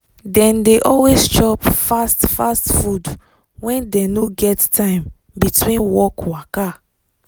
dem dey always chop fast fast food when dem no get time between work waka.